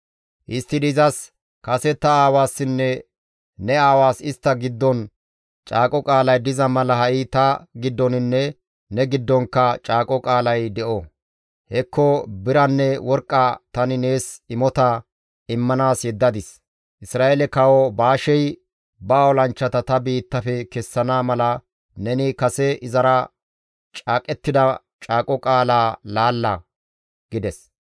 Histtidi izas, «Kase ta aawassinne ne aawaas istta giddon caaqo qaalay diza mala ha7i ta giddoninne ne giddonkka caaqo qaalay de7o; hekko biranne worqqa tani nees imota immanaas yeddadis. Isra7eele Kawo Baashey ba olanchchata ta biittafe kessana mala neni kase izara caaqettida caaqo qaalaa laalla» gides.